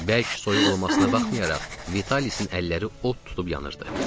Bərk soyuq olmasına baxmayaraq, Vitalisin əlləri od tutub yanırdı.